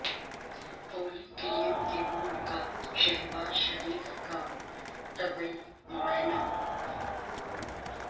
پولی clinic کے board کا شہباز شریف کا طبی معائنہ